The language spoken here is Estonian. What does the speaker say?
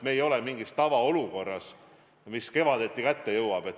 Me ei ole mingis tavaolukorras, mis kevaditi kätte jõuab.